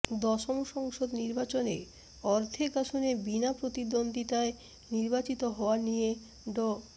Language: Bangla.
দশম সংসদ নির্বাচনে অর্ধেক আসনে বিনা প্রতিদ্বন্দ্বিতায় নির্বাচিত হওয়া নিয়ে ড